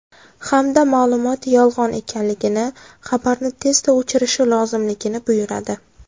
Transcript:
Hamda ma’lumot yolg‘on ekanligini, xabarni tezda o‘chirishi lozimligini buyuradi.